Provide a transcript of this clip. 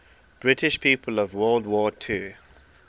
british people of world war ii